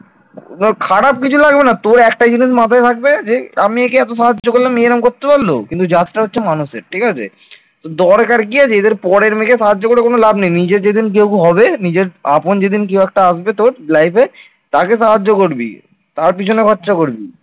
দরকার কি আছে এদের পরের মেয়েকে সাহায্য করে কোন লাভ নেই নিজের যেদিন দেখব হবে নিজের আপন যেদিন কেউ একটা আসবে তোর life তাকে সাহায্য করবি। তার পিছনে খরচা করবি